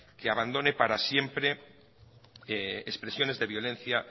que abandone para siempre expresiones de violencia